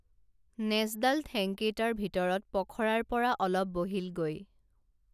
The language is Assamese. নেজডাল ঠেং কেইটাৰ ভিতৰত পখৰাৰ পৰা অলপ বহিল গৈ